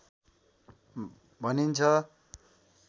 भनिन्छ